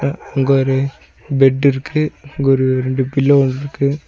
அங்க ஒரு பெட் இருக்கு இங்க ஒரு ரெண்டு பில்லோ இருக்கு.